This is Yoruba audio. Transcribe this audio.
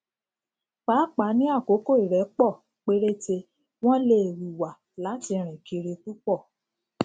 pàápàá ní àkókò ìrẹpọ péréte wọn lè hùwà láti rìn kiri púpọ